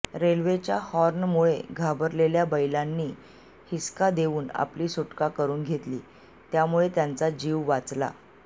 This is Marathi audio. रेल्वेच्या हॉर्नमुळे घाबरलेल्या बैलांनी हिसका देऊन आपली सुटका करून घेतली त्यामुळे त्यांचा जीव वाचला